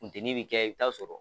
Funteni bɛ kɛ i t'a sɔrɔ